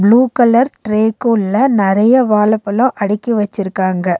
Blue colour ட்ரேகுள்ள நெறைய வாழப்பழோ அடுக்கி வச்சிருக்காங்க.